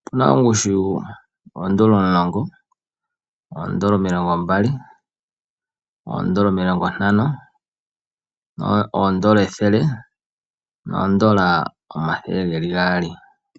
Opuna ongushu yoodola omulongo, oodola omilongo mbali, oodola omilongo ntano, oodola ethele noodola omathele geli gaali.